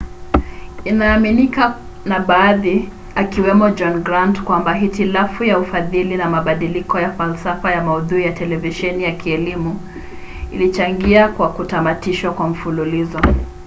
inaaminika na baadhi akiwemo john grant kwamba hitilafu ya ufadhili na mabadiliko ya falsafa ya maudhui ya televisheni ya kielimu ilichangia kwa kutamatishwa kwa mfululizo